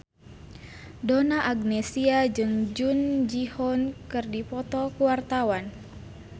Donna Agnesia jeung Jung Ji Hoon keur dipoto ku wartawan